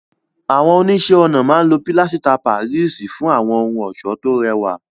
Àwọn oníṣẹ́-ọnà máa ń lo pilasita Páríìsì fún àwọn ohun ọ̀ṣọ́ tó rẹwà.